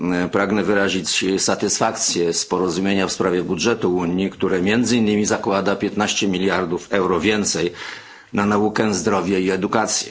Pragnę wyrazić satysfakcję z porozumienia w sprawie budżetu Unii, które między innymi zakłada 15 mld euro więcej na naukę, zdrowie i edukację.